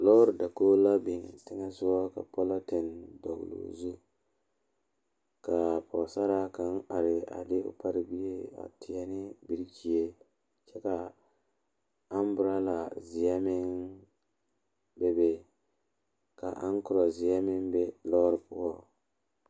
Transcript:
Lɔre la are pegle sokoɔraa a zage zage o zaa kyɛ ka vūū kpimɛ meŋ are a be vūū kpimɛ vɔgle zupele doɔre kyɛ kaa vūū kpine lɔre are sokoɔraa zu kyɛ ka noba meŋ are a kaare.